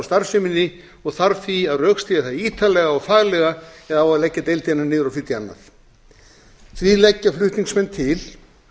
starfseminni og þarf því að rökstyðja það ítarlega og faglega ef á að leggja deildina niður og flytja annað því leggja flutningsmenn til